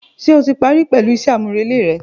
Ṣe o ti pari pẹlu iṣẹ amurele rẹ?.